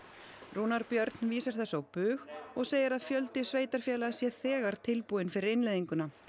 Rúnar Björn vísar þessu á bug og segir að fjöldi sveitarfélaga sé þegar tilbúinn fyrir innleiðinguna